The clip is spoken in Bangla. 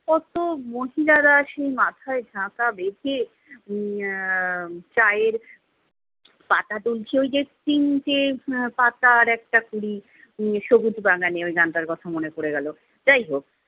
কত মহিলারা সেই মাথায় ঝাকা বেধে উম আহ চায়ের পাতা তুলছে ওইযে তিনটে আহ পাতার একটা কুড়ি উম সবুজ বাগানে - গানটার কথা মনে পড়ে গেলো। যাইহোক